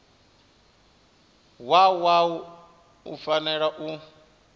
wa wua u fanela u